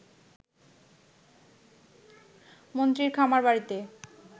মন্ত্রীর খামারবাড়িতে